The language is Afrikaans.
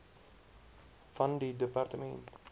van die departement